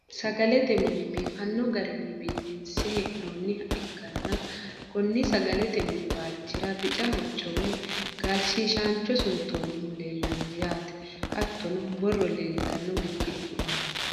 sagalete mine biifanno garinni biifinse hee'noonniha ikkanna, konni sagalete mini waalchira bica hocco woyi gaalshiishaancho suntoonnihu leelanno yaate hattono. borro leeltanno girgiddu aana.